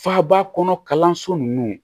Faaba kɔnɔ kalanso ninnu